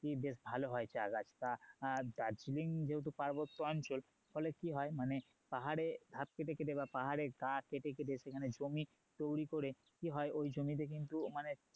বেশ ভালো হয় চা গাছ তা দার্জিলিং যেহেতু পার্বত্য অঞ্চল ফলে কি হয় মানে পাহাড়ে গাছ কেটে কেটে সেখানে জমি তৈরি করে কি হয় ওই জমিতে কিন্তু